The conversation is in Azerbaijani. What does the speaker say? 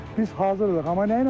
Biz hazırdıq.